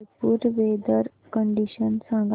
Jaipur weather condition सांगा